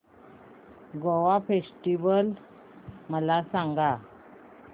Goa festival मला सांग